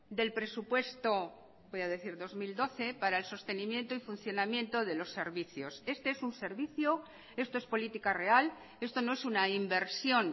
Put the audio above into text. del presupuesto voy a decir dos mil doce para el sostenimiento y funcionamiento de los servicios este es un servicio esto es política real esto no es una inversión